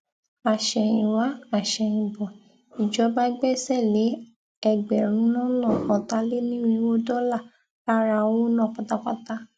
àsẹyìnwá àsẹyìnbọ ìjọba gbẹsẹ lé ẹgbẹrún lọnà ọtàlénírínwó dọlà lára owó náà pátápátá